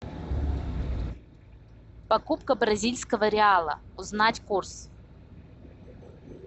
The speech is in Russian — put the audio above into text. покупка бразильского реала узнать курс